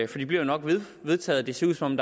for de bliver nok vedtaget det ser ud som